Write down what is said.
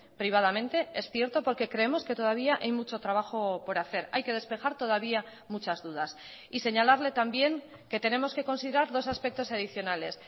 privadamente es cierto porque creemos que todavía hay mucho trabajo por hacer hay que despejar todavía muchas dudas y señalarle también que tenemos que considerar dos aspectos adicionales